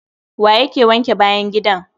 Wa ya wanke bayan gidan!